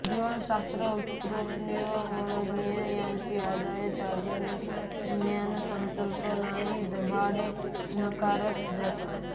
जीवशास्त्र उत्क्रांती व मनोविज्ञान यांच्या आधारे आधुनिक ज्ञानसंकल्पनाही दाभाडे नाकारत जातात